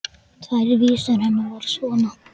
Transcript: Tvær vísur hennar voru svona: